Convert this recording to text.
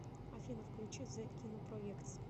афина включи зе кинопроэктс